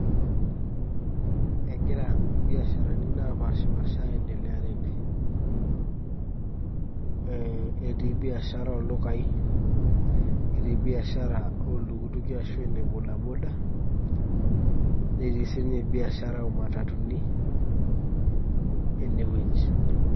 egira ibiasharani napaasha aendelea tene.ee etii biashara ooldukai, etii biashara, ooltukituki. ashu ene bodaboda netii sii ninye biashara oo matutuni enewueji.